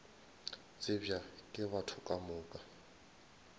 tsebja ke batho ka moka